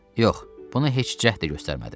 Yox, buna heç cəhd də göstərmədim.